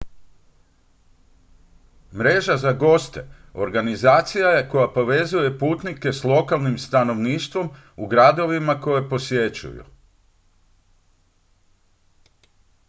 mreža za goste organizacija je koja povezuje putnike s lokalnim stanovništvom u gradovima koje posjećuju